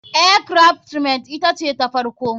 Air craft men ita ce ta farko.